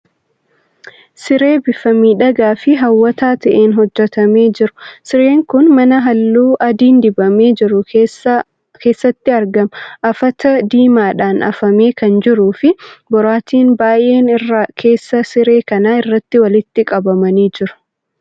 Siree bifa miidhagaa fi hawwataa ta'een hojjetamee jiru. Sireen kun mana halluu adiin dibamee jiru keessatti argama. Afata diimaadhaan afamee kan jiruu fi boraatiin baay'een irra keessa siree kanaa irratti walitti qabamanii jiru.